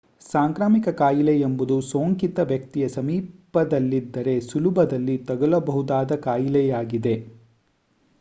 ಸಾಂಕ್ರಾಮಿಕ ಕಾಯಿಲೆ ಎಂಬುದು ಸೋಂಕಿತ ವ್ಯಕ್ತಿಯ ಸಮೀಪದಲ್ಲಿದ್ದರೆ ಸುಲಭದಲ್ಲಿ ತಗಲಬಹುದಾದ ಕಾಯಿಲೆಯಾಗಿದೆ